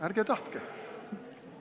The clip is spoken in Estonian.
Ärge tahtke!